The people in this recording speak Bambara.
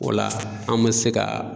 O la an mɛ se ka